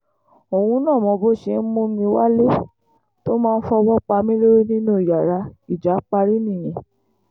òun náà mọ bó ṣe ń mú mi wálé tó máa fọwọ́ pa mí lórí nínú yàrá ìjà parí nìyẹn